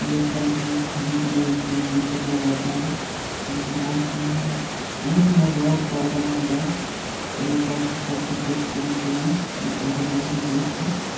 ये परांठा खाने के लिए दूर-दूर से लोग आते हैं जो कि बहोत ही यहाँ पे बहोत ही लाजवाब परांठा बनता है और ये परांठा सबको टेस्ट करना चाहिए ये परांठा बहोत ही बेस्ट है।